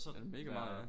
Ja mega meget